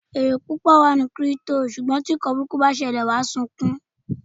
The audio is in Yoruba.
Èrè púpọ̀ wà nínú Kírípútò, ṣùgbọ́n tí ǹkan burúkú bá ṣẹlẹ̀, wàá sunkún o!